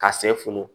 Ka sɛ funu